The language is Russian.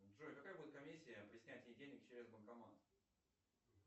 джой какая будет комиссия при снятии денег через банкомат